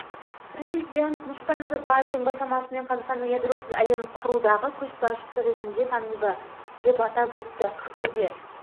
президент нұрсұлтан назарбаевтың бастамасымен қазақстан ядросыз әлем құрудағы көшбасшы ретінде танылды деп атап өтті ақтөбе